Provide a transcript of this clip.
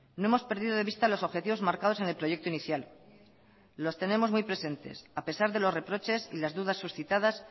no hemos perdido de vista los objetivos marcados en el proyecto inicial los tenemos muy presentes a pesar de los reproches y las dudas suscitadas